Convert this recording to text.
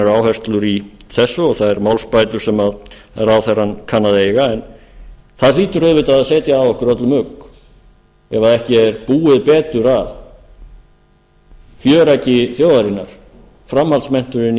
áherslur í þessu og þær málsbætur sem ráðherrann kann að eiga en það hlýtur auðvitað að segja að okkur öllum ugg ef ekki er búið betur að fjöreggi þjóðarinnar framhaldsmenntuninni í